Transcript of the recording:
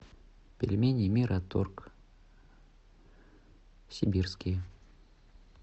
пельмени мираторг сибирские